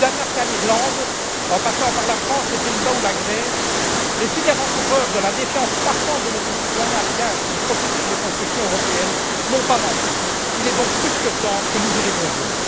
Du Danemark à l'Irlande, en passant par la France, les Pays Bas ou la Grèce, les signes avant coureurs de la défiance croissante de nos concitoyens à l'égard du processus de construction européenne n'ont pas manqué. Il est donc plus que temps que nous y répondions.